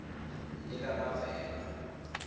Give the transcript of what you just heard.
likamavela